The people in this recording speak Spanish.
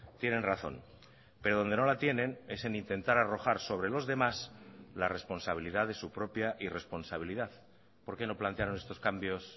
tienen razón pero donde no la tienen es en intentar arrojar sobre los demás la responsabilidad de su propia irresponsabilidad por qué no plantearon estos cambios